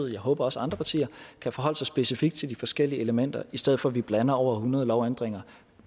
jeg håber også andre partier kan forholde sig specifikt til de forskellige elementer i stedet for at vi blander over hundrede lovændringer